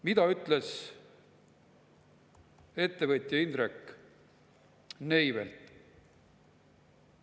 Mida ütles ettevõtja Indrek Neivelt?